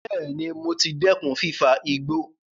Bẹẹ̀ni, mo ti dẹ́kun fífa igbó